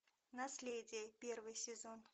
наследие первый сезон